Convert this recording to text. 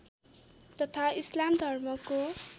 तथा इस्लाम धर्मको